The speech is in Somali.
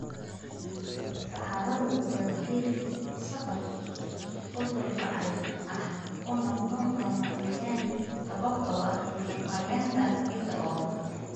Saxaradu waa geeddi-socod uu dhul bacrin ah uu noqdo lama-degaan sababtoo ah maaraynta ciidda oo xun.